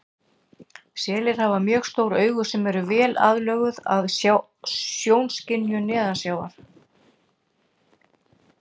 Selir hafa mjög stór augu sem eru vel aðlöguð að sjónskynjun neðansjávar.